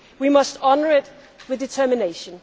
We must honour it with determination.